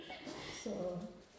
så